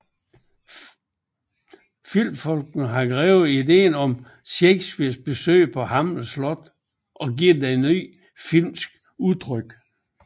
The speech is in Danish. Filmfolkene har grebet ideen om Shakespeares besøg på Hamlets slot og givet den filmisk udtryk